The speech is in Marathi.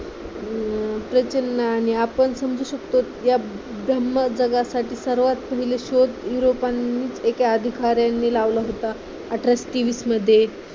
प्रसन्न आणि आपण समजू शकतो या धम्मं जगासाठी सर्वासाठी शोध युरोपानी एका अधिकाऱ्यांनी लावला होता अठराशे तेवीस मध्ये